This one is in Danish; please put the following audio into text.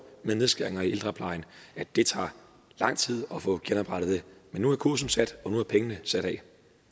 med nedskæringer i ældreplejen at det tager lang tid at få genoprettet det men nu er kursen sat og nu er pengene sat af